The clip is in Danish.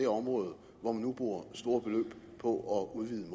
område hvor man nu bruger store beløb på at udvide